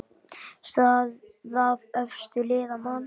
Staða efstu liða: Man.